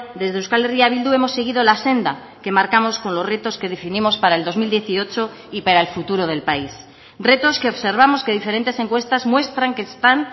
desde euskal herria bildu hemos seguido la senda que marcamos con los retos que definimos para el dos mil dieciocho y para el futuro del país retos que observamos que diferentes encuestas muestran que están